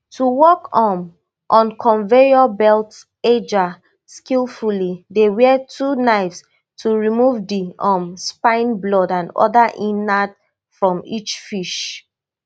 to work um on conveyor belt edgar skilfully dey wield two knives to remove di um spine blood and oda innards from each fish